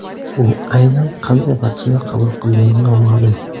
U aynan qanday vaksina qabul qilgani noma’lum.